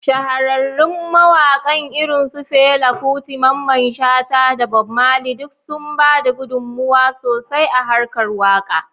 Shahararrun mawakan irin su Fela Kuti, Mamman Shata, da Bob Marley duk sun ba da gudunmawa sosai a harkar waka.